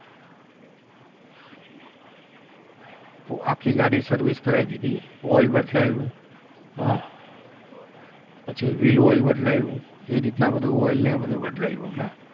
આખી ગાડી service કરાવી દીધી oil બદલાયું પછી wheel ઓઇલ બદલાયું એ રીતના બધું oil ને બધું બદલાવ્યું મેં